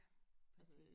Præcis